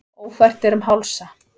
Ófært er um Hálsa